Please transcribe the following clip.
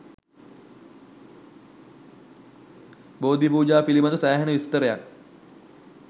බෝධි පූජා පිළිබද සෑහෙන විස්තරයක්